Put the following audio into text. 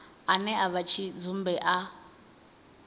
ane a vha tshidzumbe a